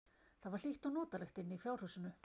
Það var hlýtt og notalegt inni í fjárhúsinu.